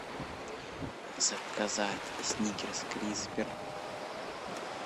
заказать сникерс криспер